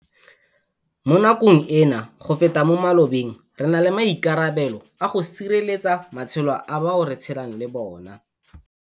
Mo nakong eno, go feta mo malobeng, re na le maikarabelo a go sireletsa matshelo a bao re tshelang le bona.